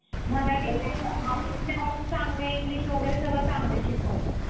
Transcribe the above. मराठी mediumमध्ये शिक्षण पण चांगलं आहे english वगैरे सगळं चांगलाच शिकवतात.